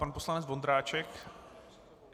Pan poslanec Vondráček.